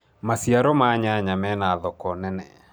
maciaro ma nyanya mena thoko nene